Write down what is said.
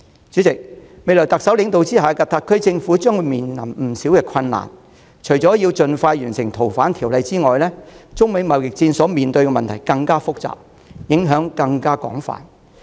主席，在特首領導下的特區政府未來將面對不少困難，除了《逃犯條例》的修訂工作須盡快完成外，中美貿易戰的問題更複雜，影響更廣泛。